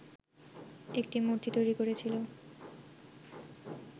একটি মূর্তি তৈরি করেছিল